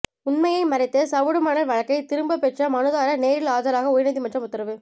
உண்மையை மறைத்து சவுடு மணல் வழக்கை திரும்பப் பெற்ற மனுதாரா் நேரில் ஆஜராக உயா்நீதிமன்றம் உத்தரவு